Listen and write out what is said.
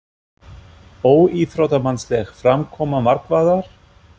Óíþróttamannsleg framkoma markvarðar?